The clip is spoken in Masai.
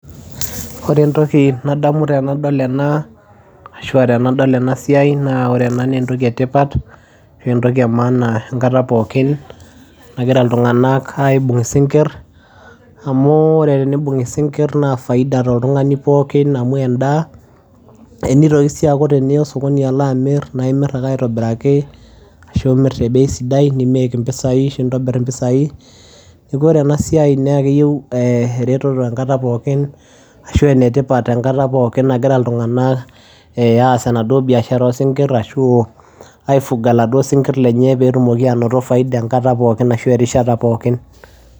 Wore entoki nadamu tenadol enaa ashua tenadol enasiai naa wore ena naa entoki etipat ashu entoki emaana enkata pookin nagira iltunganak aibung isingir, amu wore tenibung isingir naa faida tooltungani pookin amu endaa, nitoki sii aaku wore teniyia osokoni alo amir naa imir ake aitobiraki, ashu imir tee bei sidai make impisai ashu intobir impisai, niaku wore enasiai naa keyeu eretoto enkata pookin ashua enetipat enkata pookin nagira iltunganak eeh aas enaduo biashara osingir ashu aifunga laduo singir lenye peetumoki anoto faida enkata pookin ashu erishata pookin.